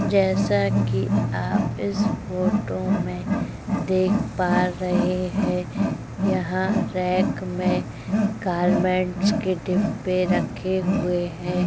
जैसा कि आप इस फोटो में देख पा रहे है यहां रैक में गारमेंट्स के डिब्बे रखे हुए हैं।